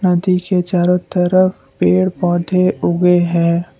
नदी के चारों तरफ पेड़ पौधे उगे हैं।